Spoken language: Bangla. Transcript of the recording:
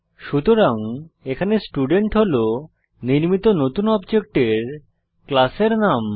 সুতরাং এখানে স্টুডেন্ট হল নির্মিত নতুন অবজেক্টের ক্লাসের নাম